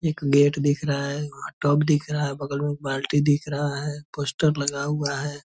एक गेट दिख रहा है वहाँ टब दिख रहा है बगल में एक बाल्टी दिख रहा है पोस्टर लगा हुआ है ।